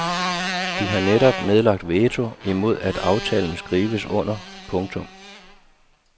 De har netop nedlagt veto imod at aftalen skrives under. punktum